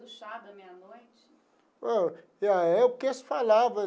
O chá da meia-noite? Ah é o que eles falava.